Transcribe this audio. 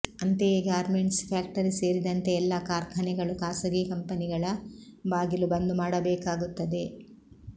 ಅಂತೆಯೇ garments factory ಸೇರಿದಂತೆ ಎಲ್ಲಾ ಕಾರ್ಖಾನೆಗಳು ಖಾಸಗಿ ಕಂಪನಿಗಳ ಬಾಗಿಲು ಬಂದ್ ಮಾಡಬೇಕಾಗುತ್ತದೆ